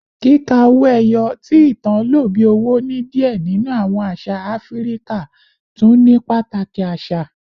Kika owo eyo, ti itan lo bi owo ni diẹ ninu awọn aṣa Afirika, tun ni pataki asa